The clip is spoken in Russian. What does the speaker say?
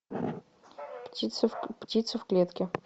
птицы в клетке